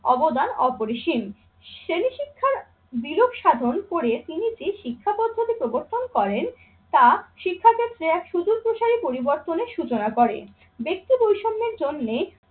অবদান অপরিসীম। শ্রেণী শিক্ষার বিরূপ সাধন করে তিনি যে শিক্ষা পদ্ধতি প্রবর্তন করেন তা শিক্ষাক্ষেত্রে এক সুদূরপ্রসারী পরিবর্তনের সুচনা করে। ব্যক্তি বৈষম্যের জন্যে